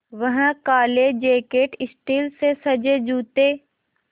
वह काले jacket steel से सजे जूते